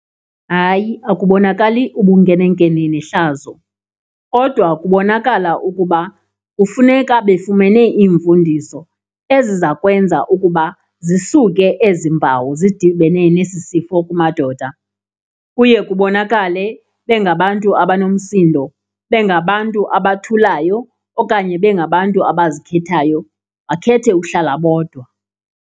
Hayi, akubonakali ubunkene nkene nehlazo kodwa kubonakala ukuba kufuneka befumene iimfundiso ezizakwenza ukuba zisuke ezi mpawu zidibene nesi sifo kumadoda. Kuye kubonakale bengabantu abanomsindo bengabantu abathulayo okanye bengabantu abazikhethayo, bakhethe uhlala bodwa.